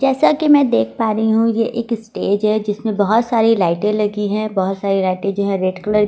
जैसा कि मैं देख पा रही हूं ये एक स्टेज है जिसमें बहुत सारी लाइटें लगी है बहुत सारी लाइटें जो है रेड कलर --